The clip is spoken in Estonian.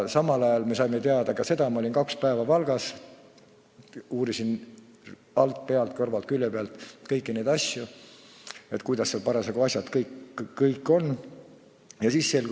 Samal ajal me saime teada ka seda, kuidas parasjagu kohapeal lood on – ma olin kaks päeva Valgas ning uurisin alt, pealt ja kõrvalt külje pealt kõiki neid asju.